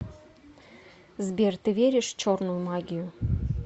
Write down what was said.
сбер ты веришь в черную магию